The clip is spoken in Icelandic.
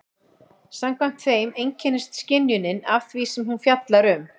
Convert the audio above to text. Samkvæmt þeim einkennist skynjunin af því sem hún fjallar um.